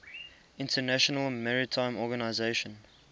international maritime organization